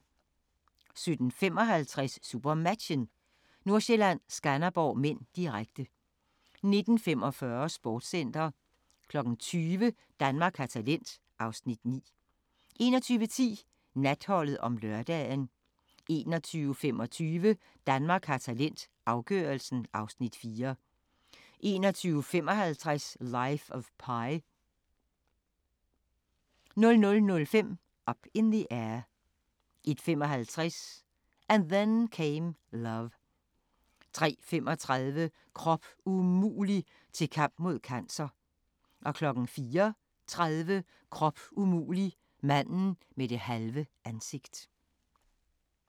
17:55: SuperMatchen: Nordsjælland-Skanderborg (m), direkte 19:45: Sportscenter 20:00: Danmark har talent (Afs. 9) 21:10: Natholdet om lørdagen 21:25: Danmark har talent – afgørelsen (Afs. 4) 21:55: Life of Pi 00:05: Up in the Air 01:55: And Then Came Love 03:35: Krop umulig – til kamp mod cancer 04:30: Krop umulig – manden med det halve ansigt